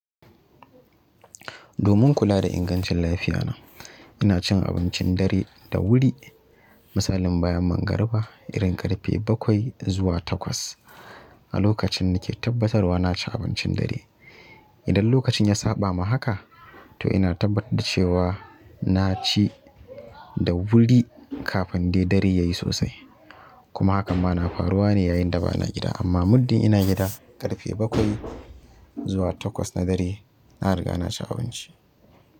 Domin kula da ingancin lafiya na, ina cin abincin dare da wuri. Misalin bayan mangariba, irin ƙarfe bakwai zuwa takwas. A lokacin nake tabbatarwa na ci abincin dare. Idan lokacin ya saɓa ma haka, to ina tabbatar da cewa na ci da wuri kafin dai dare ya yi sosai. Kuma hakan ma na faruwa ne yayin da ba na gida. Amma muddin ina gida, ƙarfe bakwai zuwa takwas na dare, na riga na ci abinci.